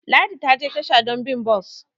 Ladi ta je tasha don bi bus